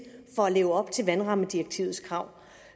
for at leve op til vandrammedirektivets krav